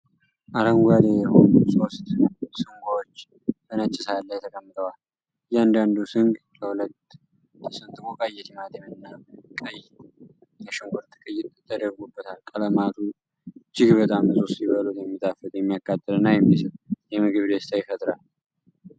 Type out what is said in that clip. አረንጓዴ የሆኑ ሶስት ስንጎች በነጭ ሳህን ላይ ተቀምጠዋል። እያንዳንዱ ስንግ ለሁለት ተሰንጥቆ ቀይ የቲማቲምና ቀይ የሽንኩርት ቅይጥ ተደርጎበታል። ቀለማቱ እጅግ በጣም ንፁህ ሲበሉት የሚጣፍጥ፣ የሚያቃጥልና የሚስብ የምግብ ደስታ ይፈጥራሉ።